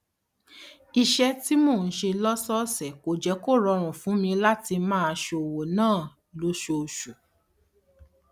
iṣé tí mò ń ṣe lósòòsè kò jé kó rọrùn fún mi láti máa ṣówó ná lóṣooṣù